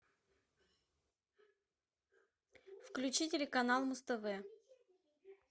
включи телеканал муз тв